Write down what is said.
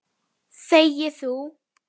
Þegi þú!